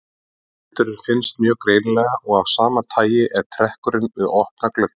Vindurinn finnst mjög greinilega og af sama tagi er trekkur við opna glugga.